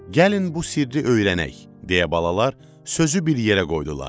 Gəlin bu sirri öyrənək, deyə balalar sözü bir yerə qoydular.